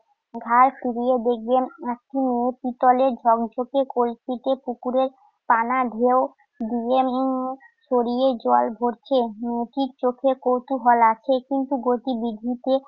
ঘাড় ফিরিয়ে দেখবেন আপনি পিতলের ঝকঝকে কলসিতে পুকুরের কানা ঢেউ দিয়ে উম সরিয়ে জল ভরছে। মুখে চোখে কৌতূহল আছে কিন্তু গতিবিধিতে